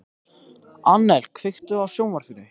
Annel, kveiktu á sjónvarpinu.